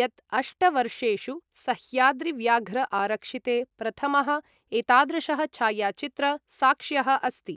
यत् अष्ट वर्षेषु सह्याद्रि व्याघ्र आरक्षिते प्रथमः एतादृशः छायाचित्र साक्ष्यः अस्ति ।